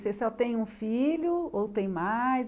Você só tem um filho ou tem mais?